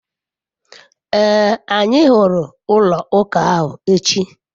ee, anyi huru ulo uka ahu echi